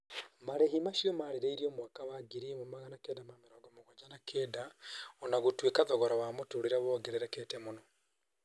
Marĩhi macio marĩrĩirio mwaka wa 1979. O na gũtuĩka thogora wa mũtũrĩrĩ wongererekete mũno.